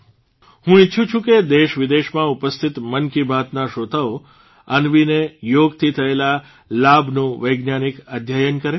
હું ઇચ્છું છું કે દેશવિદેશમાં ઉપસ્થિત મન કી બાતના શ્રોતાઓ અન્વીને યોગથી થયેલા લાભનું વૈજ્ઞાનિક અધ્યયન કરે